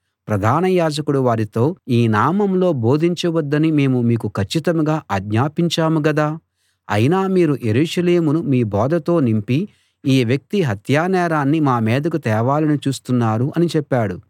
ప్రధాన యాజకుడు వారితో ఈ నామంలో బోధించవద్దని మేము మీకు కచ్చితంగా ఆజ్ఞాపించాము గదా అయినా మీరు యెరూషలేమును మీ బోధతో నింపి ఈ వ్యక్తి హత్యానేరాన్ని మా మీదికి తేవాలని చూస్తున్నారు అని చెప్పాడు